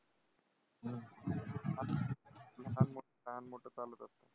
लहान मोठं चालूच असतं.